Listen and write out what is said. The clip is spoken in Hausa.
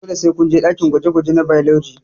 Dole sai kunje ɗakin gwaje gwaje na bailoji